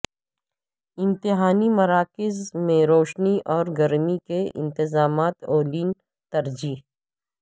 امتحانی مراکز میں روشنی اور گرمی کے انتظامات اولین ترجیح